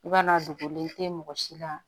I b'a na dogolen tɛ mɔgɔ si la